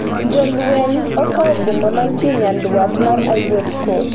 Jolweny okawo boma mantie nyandwat mar Ivory Coast